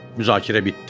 Müzakirə bitdi.